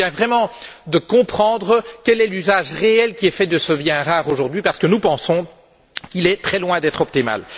Il convient vraiment de comprendre quel est l'usage réel qui est fait de ce bien rare aujourd'hui parce que, à notre sens, il est très loin d'être optimal.